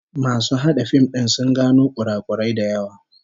Masu hada fim din sun gano kurakurai da yawa